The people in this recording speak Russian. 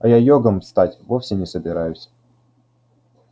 а я йогом стать вовсе не собираюсь